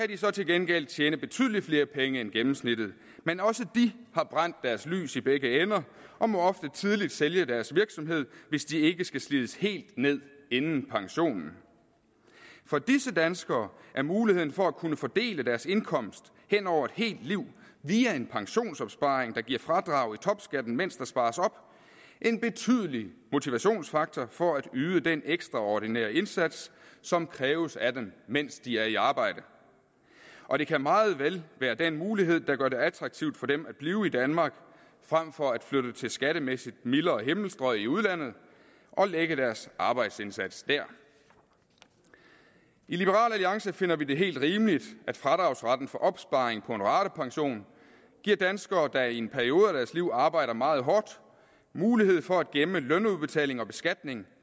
de så til gengæld tjene betydelig flere penge end gennemsnittet men også de har brændt deres lys i begge ender og må ofte tidligt sælge deres virksomhed hvis de ikke skal slides helt ned inden pensionen for disse danskere er muligheden for at kunne fordele deres indkomst hen over et helt liv via en pensionsopsparing der giver fradrag i topskatten mens der spares op en betydelig motivationsfaktor for at yde den ekstraordinære indsats som kræves af dem mens de er i arbejde og det kan meget vel være den mulighed der gør det attraktivt for dem at blive i danmark frem for at flytte til skattemæssigt mildere himmelstrøg i udlandet og lægge deres arbejdsindsats dér i liberal alliance finder vi det helt rimeligt at fradragsretten for opsparing på en ratepension giver danskere der i en periode af deres liv arbejder meget hårdt mulighed for at gemme lønudbetaling og beskatning